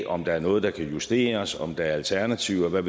om der er noget der kan justeres og om der er alternativer og hvad